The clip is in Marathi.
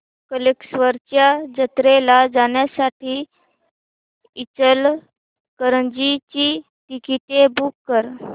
कल्लेश्वराच्या जत्रेला जाण्यासाठी इचलकरंजी ची तिकिटे बुक कर